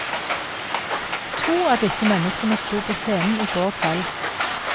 To av disse menneskene sto på scenen i går kveld.